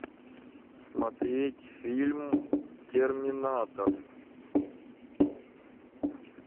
смотреть фильм терминатор